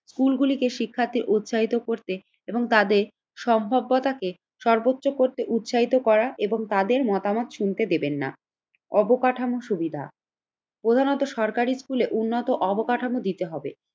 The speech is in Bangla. স্কুলগুলিকে শিক্ষার্থী উৎসাহিত করতে এবং তাদের সম্ভাব্যতাকে সর্বোচ্চ করতে উৎসাহিত করা এবং তাদের মতামত শুনতে দেবেন না। অবকাঠামো সুবিধা প্রধানত সরকারি স্কুলে উন্নত অবকাঠামো দিতে হবে।